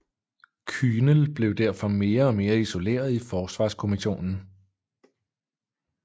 Kühnel blev derfor mere og mere isoleret i Forsvarskommissionen